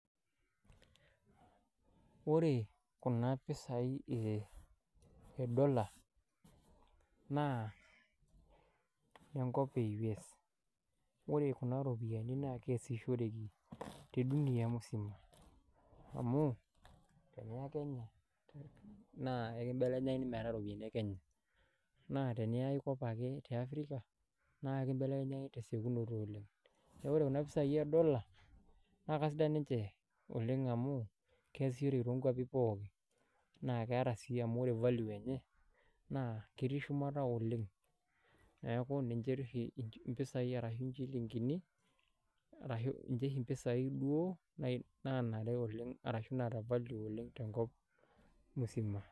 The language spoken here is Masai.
Wore kuna pisai e dollar, naa inenkop e US. Wore kuna ropiyiani naa keasishoreki te Dunia musima. Amu, teniya Kenya, naa ekibelekenyakini metaa iropiyani e Kenya, naa teniya aikop ake te Africa, naa ekibelekenyakini ake tesekunoto oleng'. Neeku wore kuna pisai edola, naa kasidan ninche oleng' amu, keasishoreki toonkuapi pookin. Naa keeta sii amu wore value enye, naa ketii shumata oleng'. Neeku ninche oshi impisai ashu inchilingini arashu ninche oshi impisai duo, naanare oleng' arashu naata value oleng' tenkop musima.